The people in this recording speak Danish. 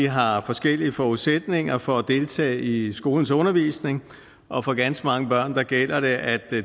har har forskellige forudsætninger for at deltage i skolens undervisning og for ganske mange børn gælder det at